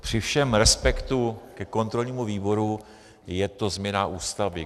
Při všem respektu ke kontrolnímu výboru, je to změna Ústavy.